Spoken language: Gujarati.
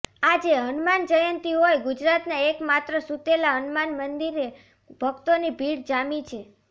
આજે હનુમાન જયંતી હોઈ ગુજરાતના એકમાત્ર સુતેલા હનુમાન મંદિરે ભક્તોની ભીડ જામી છે